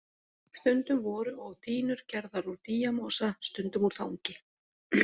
Stundum voru og dýnur gerðar úr dýjamosa, stundum úr þangi.